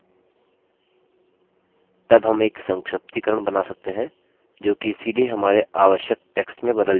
तब हम एक संक्षिप्तीकरण बना सकते हैं जोकि सीधे हमारे आवश्यक text में बदल जाएगा